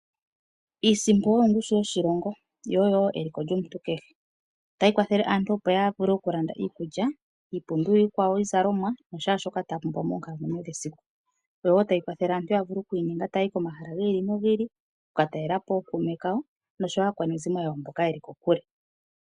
Iisimpo oyo ongushu lyoshilongo neliko lyomuntu kehe. Ohayi kwathele aantu opo ya vule okulanda iikulya osho wo iipumbiwa yimwe ya yooloka. Ohayi vulu okulongithwa opo aantu yaye komahala goko kule.